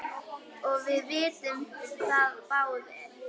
og við vitum það báðir.